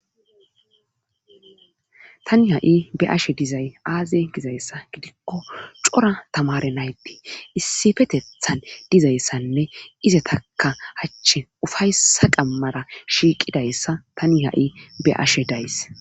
tani ha7i be ashe dizay aaze gizayssa gidikko cora tamare naydee issifetethan dizayssanne iza takka hachchi ufaysa qammara shiiqidayssa tani ha7i be ashe days